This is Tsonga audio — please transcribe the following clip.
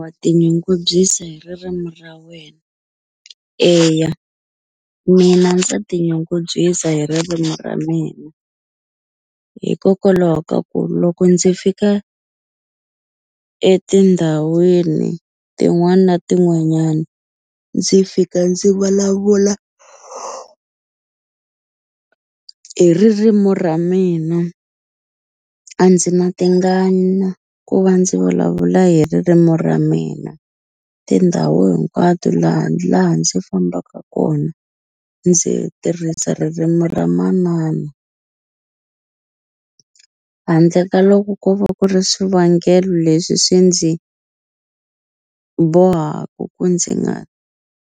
wa tinyungubyisa hi ririmi ra wena? Eya mina ndza tinyungubyisa hi ririmi ra mina hikokwalaho ka ku loko ndzi fika etindhawini tin'wana na tin'wanyani ndzi fika ndzi vulavula hi ririmu ra mina a ndzi na tingana ku va ndzi vulavula hi ririmu ra mina tindhawu hinkwato laha laha ndzi fambaka kona ndzi tirhisa ririmu ra manana handle ka loko ko va ku ri swivangelo leswi swi ndzi bohaku ku ndzi nga